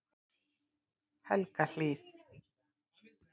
Helgahlíð